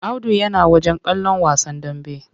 Audu yana wajen kallon wasan dambe.